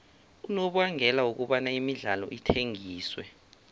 unobangela wokobana imidlalo ithengiswe